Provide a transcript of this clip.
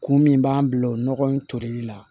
Kun min b'an bila o nɔgɔ in tolili la